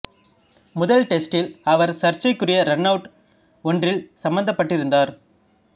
முதல் டெஸ்ட்டில் அவர் சர்ச்சைக்குரிய ரன் அவுட் ஒன்றில் சம்பந்தப்பட்டிருந்தார்